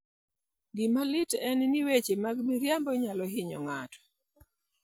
Gima lit en ni, weche mag miriambo nyalo hinyo ng'ato.